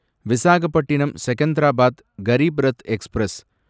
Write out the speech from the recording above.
Visakhapatnam Secunderabad Garib Rath express